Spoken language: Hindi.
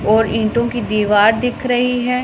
और ईंटों की दीवार दिख रही है।